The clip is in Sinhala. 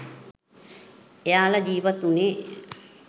එයාල ජීවත් උනේ